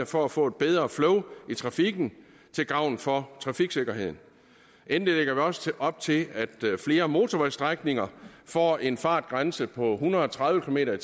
for at få bedre flow i trafikken til gavn for trafiksikkerheden endelig lægger vi også op til at flere motorvejsstrækninger får en fartgrænse på en hundrede og tredive kilometer